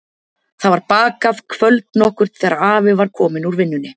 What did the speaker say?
Það var bakað kvöld nokkurt þegar afi var kominn úr vinnunni.